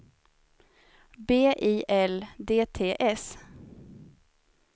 B I L D T S